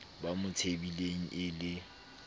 ba mo tsebileng e le